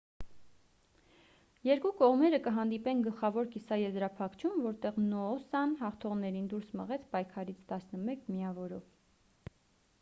երկու կողմերը կհանդիպեն գլխավոր կիսաեզրափակչում որտեղ նոոսան հաղթողներին դուրս մղեց պայքարից 11 միավորով